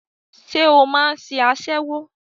Ṣé o máà ń ṣe aṣẹ́wó?